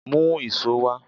Mú íṣo wá!